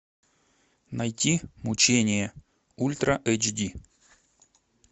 найти мучения ультра эйч ди